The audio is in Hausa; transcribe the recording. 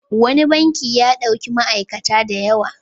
Wani banki ya ɗauki ma'aikata da yawa.